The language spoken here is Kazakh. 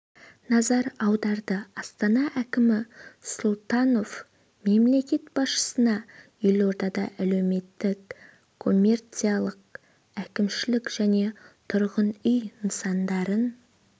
назар аударды астана әкімі сұлтанов мемлекет басшысына елордада әлеуметтік коммерциялық әкімшілік және тұрғын үй нысандарын